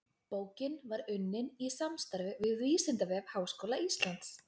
Bókin var unnin í samstarfi við Vísindavef Háskóla Íslands.